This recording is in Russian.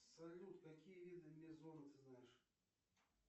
салют какие виды мезона ты знаешь